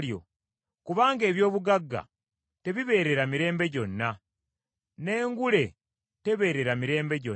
Kubanga eby’obugagga tebibeerera mirembe gyonna, n’engule tebeerera mirembe gyonna.